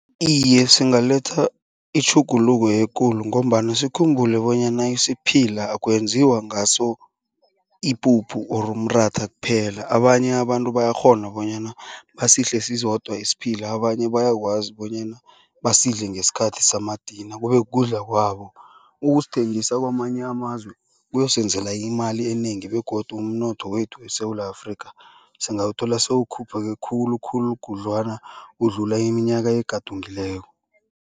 Iye, singaletha itjhuguluko ekulu ngombana sikhumbule bonyana isiphila akwenziwa ngaso ipuphu or umratha kuphela. Abanye abantu bayakghona bonyana basidle sisodwa isiphila. Abanye bayakwazi bonyana basidle ngesikhathi samadina kube kudla kwabo. Ukusithengisa kwamanye amazwe kuyosenzela imali enengi begodu umnotho wethu eSewula Afrika singawuthola sewukhuphuke khulukhulu khudlwana ukudlula iminyaka egadungileko.